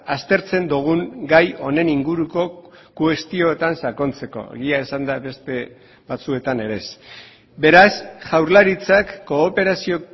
aztertzen dugun gai honen inguruko kuestioetan sakontzeko egia esanda beste batzuetan ere ez beraz jaurlaritzak kooperazio